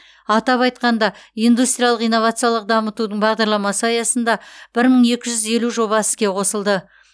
атап айтқанда индустриялық инновациялық дамытудың бағдарламасы аясында бір мың екі жүз елу жоба іске қосылды